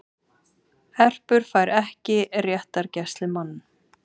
Erpur fær ekki réttargæslumann